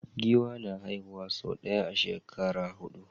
Giwa na haihuwa sau ɗaya a shekara hudu